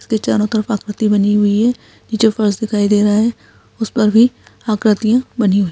इसके चारों तरफ आकृति बनी हुई है यह जो पर्स दिखाई दे रहा है उस पर भी आकृतियां बनी हुई --